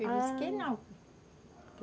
Eu disse que não.